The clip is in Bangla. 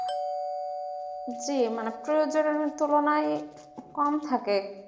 জি মাত্র তুলনায় কম থাকে